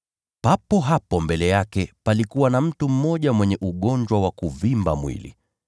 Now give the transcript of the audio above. Papo hapo mbele yake palikuwa na mtu mmoja mwenye ugonjwa wa kuvimba mwili.